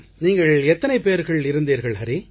நீங்கள் எத்தனை பேர்கள் இருந்தீர்கள் ஹரி